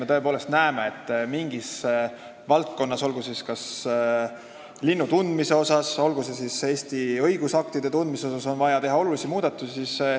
Me tõepoolest näeme, et mingis valdkonnas, olgu kas lindude või Eesti õigusaktide tundmise asjus on vaja teha olulisi muudatusi.